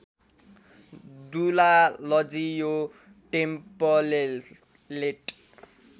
दुलालजी यो टेम्पलेट